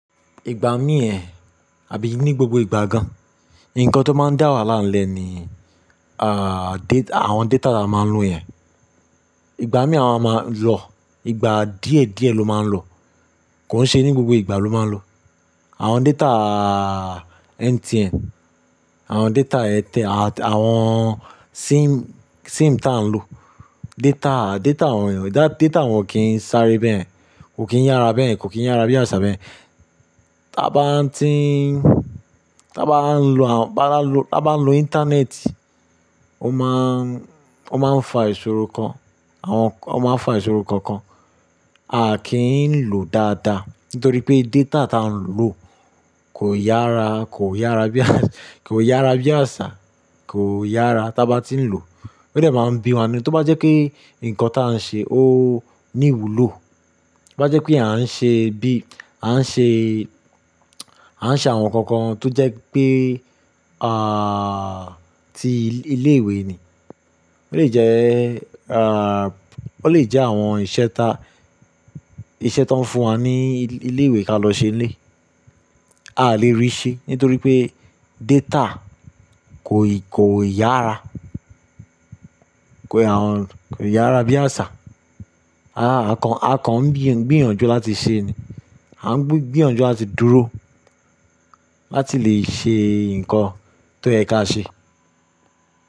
Ìgbà mí yẹn àbí ní gbogbo ìgbà gan, ǹkan tó máa ń dá wahaala ńlẹ́ ni, data, àwọn data tí a máa ń lo yẹn. Ìgbà mí a maa máa ń lọ, ìgbà díẹ̀ díẹ̀ ló máa ń lọ, kò ń ṣe ní gbogbo ìgbà ló máa ń lọ. Àwọn data MTN, àwọn data Airtel atàwọn SIM, SIM tí à ń lo, data, data wọn yen, data wọn o kì n sáré bẹ́yẹ̀n, kò kì í yára bẹ́yen, kò kì í yára bí àṣà bẹ́yen. Ta bá ń tí n, ta bá ń lo, bá n bá ń lo, tí a bá ń lo Íńtánẹ́ẹ̀tì, ó máa ń, ó máa ń fa ìṣòro kan, àwọn, ó máa ń fa ìṣòro kookan. A ñkì í lò dáadáa nítorí pé data ta ń lò kò yára, kò yára bí kò yára bí àṣà, kò yára ta bá tí ń lò. Ó dè máa ń bí wa ninu tó bá jẹ́ kí ǹkan tà ń ṣe ó ní ìwúlò, tó bá jẹ́ pé à ń ṣe bí, à ń ṣe, à ń ṣe àwọn nǹkan kan tó jẹ́ pé, ti ilé ìwé ni. Ta bá ń tí n, ta bá ń lo, bá ba n lo tí, bi a bá ń lo Íńtánẹ́ẹ̀tì, ó máa ń, ó máa ń fa ìṣòro kan, àwọn, ó máa ń fa ìṣòro kookan. A à lè rí ṣẹ nítorí pé data Kò ì, kò yára, Kò yára bí àṣà. A kàn, a kàn ń gbi gbiyànjú láti ṣe ni. A ń gbiyànjú ati dúró láti lè ṣe ǹkan tó yẹ ká ṣe.